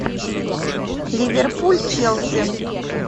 ливерпуль челси